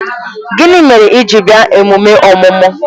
Gịnị mere i ji bịa emume ọmụmụ?